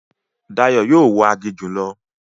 Dayọ̀ yóò wọ aginjù lọ